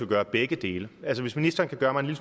gøre begge dele hvis ministeren kan gøre mig en